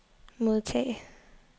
modtage